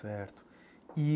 Certo.